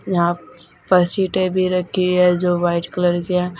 यहां पर सीटें भी रखी है जो वाइट कलर की है।